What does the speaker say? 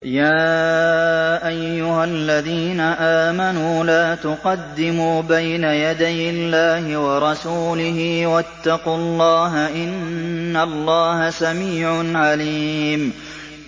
يَا أَيُّهَا الَّذِينَ آمَنُوا لَا تُقَدِّمُوا بَيْنَ يَدَيِ اللَّهِ وَرَسُولِهِ ۖ وَاتَّقُوا اللَّهَ ۚ إِنَّ اللَّهَ سَمِيعٌ عَلِيمٌ